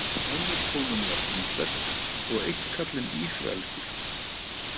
Önnur konan var indversk og einn karlinn ísraelskur.